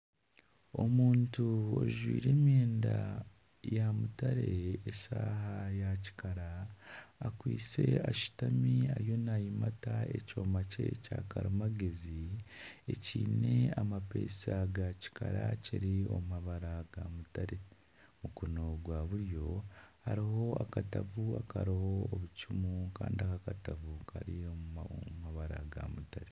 Omuntu ajwaire emyenda ya mutare nana eshaaha ya kikara akwaitse ashutami ariyo nayimata ekyoma ekya karimagyezi ekiine amapesa ga kikara ekiri omu mabara ga mutare mukono gwa buryo hariho akatabo akariho obucumu Kandi akatabo Kari omu mabara ga mutare